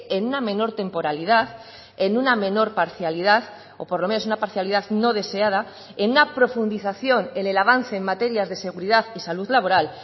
en una menor temporalidad en una menor parcialidad o por lo menos una parcialidad no deseada en una profundización en el avance en materias de seguridad y salud laboral